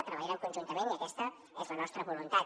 treballarem conjuntament i aquesta és la nostra voluntat